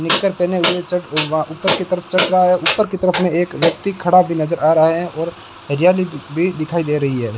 निक्कर पहने हुए छत वहां ऊपर की तरफ चढ़ रहा है उपर की तरफ में एक व्यक्ति खड़ा भी नजर आ रहा है और हरियाली भी दिखाई दे रही है।